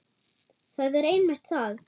Það er einmitt það.